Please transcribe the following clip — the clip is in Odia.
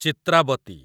ଚିତ୍ରାବତୀ